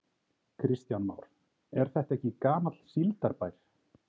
Kristján Már: Er þetta ekki gamall síldarbær?